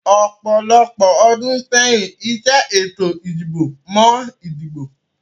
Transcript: Ọ̀pọ̀lọpọ̀ ọdún sẹ́yìn, ìṣe ètò ìdìbò mọ ìdìbò